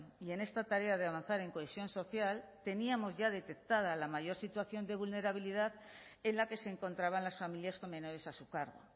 y en esta tarea de avanzar en cohesión social teníamos ya detectada la mayor situación de vulnerabilidad en la que se encontraban las familias con menores a su cargo